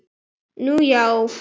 Nú já.